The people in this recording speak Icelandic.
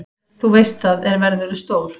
Þú veist það, er verðurðu stór.